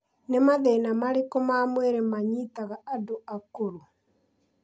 Nĩ mathĩna marĩkũ ma mwĩrĩ manyitaga andũ a akũrũ?